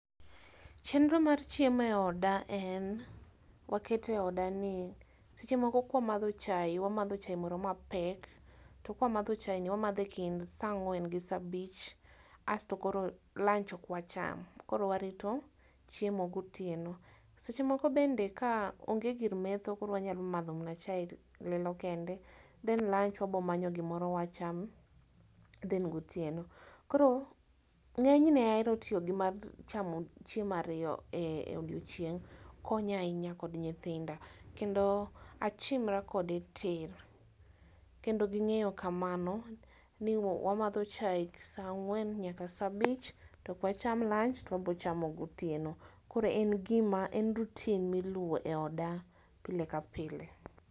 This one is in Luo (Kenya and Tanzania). Chenro mar chieme oda en; wakete oda ni seche moko kwamadho chae, wamadho chae moro mapek, to kwamadho chaeni wamadhe e kind saa ang'wen gi saa abich astokoro lunch okwacham. Koro warito chiemo gotieno. Seche moko bende kaonge gir metho koro wanyalo madho mana che lil lilo kende, then lunch wabomanyo gimoro wacham then[]cs gotieno. Koro ng'enyne aero tiogi mar chamo chiemo ario ee odiochieng'. Konya ahinya kod nyithinda, kendo achimra kode tir. Kendo ging'eyo kamano, ni wamadho chae saa ang'wen nayaka saa abich, tokwacham lunch to wabochamo gotieno. Koro en gima en routine miluwo e oda pile kapile.